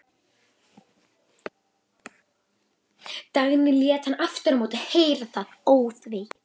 Dagný lét hann aftur á móti heyra það óþvegið.